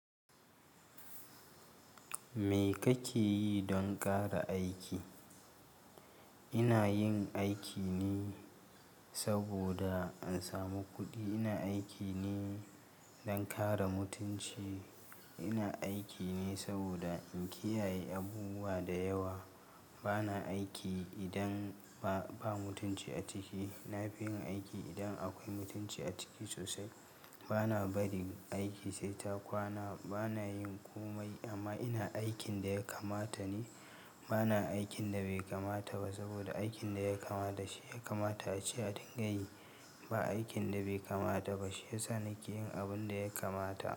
Me kake yi don ƙara aiki? Ina yin aiki ne saboda in samu kuɗi. Ina aiki ne don ƙara mutunci. Ina aiki ne saboda in kiyaye abubuwa da yawa. Bana aiki idan ba, ba mutunci a ciki. Na fi yin aiki idan akwai mutunci a ciki sosai. Bana barin aiki sai ta kwana. Bana yin komai amma ina aikin da ya kamata ne. Bana aikin da bai kamata ba saboda aikin da ya kamata shi ya kamata a ce a dingayi ba aikin da bai kamata ba. Shi yasa nake yin abun da ya kamata.